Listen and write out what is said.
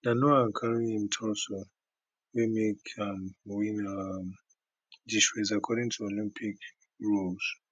na noah carry im torso wey make am win um dis race according to olympic rules